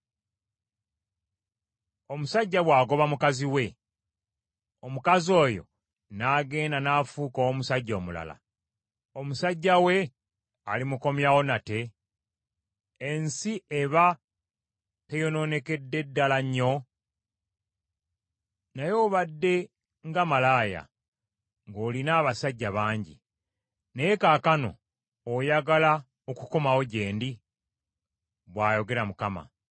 “Omusajja bw’agoba mukazi we, omukazi oyo n’agenda n’afuuka ow’omusajja omulala, omusajja we alimukomyawo nate? Ensi eba teyonoonekedde ddala nnyo? Naye obadde nga malaaya, ng’olina abasajja bangi; naye kaakano oyagala okukomawo gye ndi?” bw’ayogera Mukama .